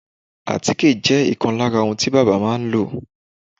àtíkè jẹ́ ìkan lára ohun tí bábà máa ń lò.